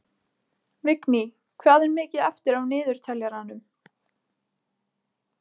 Vigný, hvað er mikið eftir af niðurteljaranum?